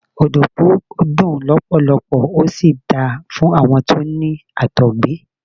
Ọ̀dùnkún dùn lọpọlọpọ, ó sì da fún àwọn tó ní Àtọ̀gbẹ.